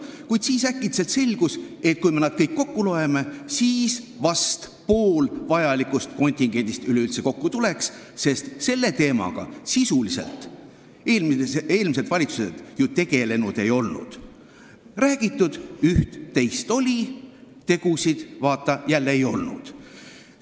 Kuid siis äkitselt selgus, et kui me nad kõik kokku loeme, siis tuleks kokku vist pool vajalikust kontingendist üleüldse, sest selle teemaga eelmised valitsused sisuliselt ju tegelenud ei olnud, räägitud üht-teist oli, tegusid, vaata, jälle ei olnud.